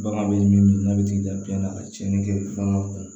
Bagan bɛ min n'a bɛ t'i da biyɛn na ka tiɲɛni kɛ bagan kun